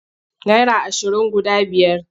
Naira ashirin guda biyar.